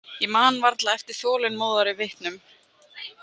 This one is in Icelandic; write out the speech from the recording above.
Ég man varla eftir þolinmóðari vitnum.